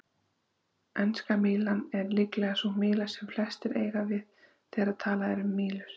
Enska mílan er líklega sú míla sem flestir eiga við þegar talað er um mílur.